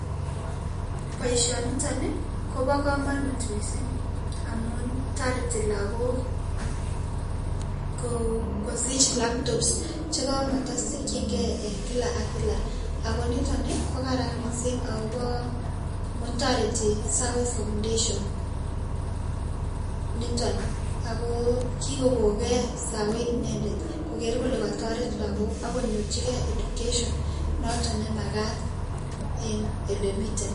Boisioniton Ii Kobo kamonut mising amun toreti Lagok kosich laptops che kamotosikyin Kee enn kila ak kila ako niton Ii kokararan mising akobo amun toreti SAWE foundation niton Ako kikokonge SAWE inendet koker kole katoret Lagok akonyorjike education noton me makat enn ele miten.